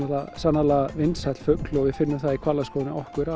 sannarlega vinsæll fugl og við finnum það í hvalaskoðun hjá okkur